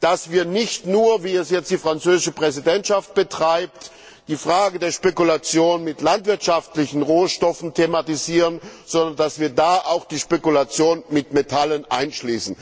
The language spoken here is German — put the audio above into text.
dass wir nicht nur wie es jetzt die französische Präsidentschaft betreibt die Frage der Spekulation mit landwirtschaftlichen Rohstoffen thematisieren, sondern dass wir da auch die Spekulation mit Metallen einschließen.